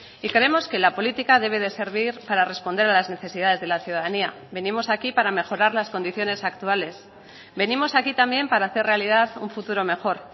y creemos que la política debe de servir para responder a las necesidades de la ciudadanía venimos aquí para mejorar las condiciones actuales venimos aquí también para hacer realidad un futuro mejor